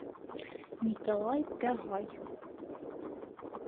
николай пягай